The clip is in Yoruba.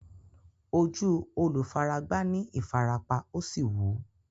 Ojú olùfaragbá ní ìfarapa, ó sì wú.